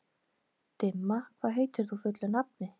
Dimma, hvað heitir þú fullu nafni?